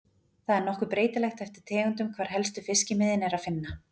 Það er nokkuð breytilegt eftir tegundum hvar helstu fiskimiðin er að finna.